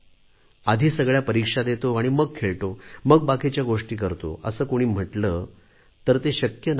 आधी सगळ्या परीक्षा देतो आणि मग खेळतो मग बाकीच्या गोष्टी करतो असे कुणी म्हटले तर ते शक्य नाही